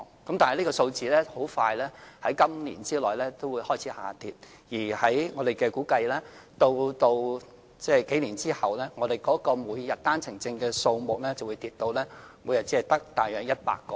然而，這個數字在今年內很快會開始下跌，而據我們估計，數年後每天持單程證來港的人數會下跌至大約100名。